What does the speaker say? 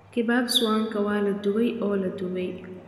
Kebabs Wanka waa la dubay oo la dubay.